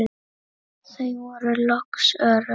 Þau voru loks örugg.